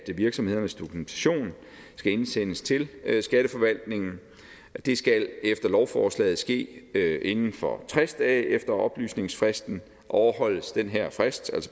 virksomhedernes dokumentation skal indsendes til skatteforvaltningen og det skal efter lovforslaget ske inden for tres dage efter oplysningsfristen overholdes den her frist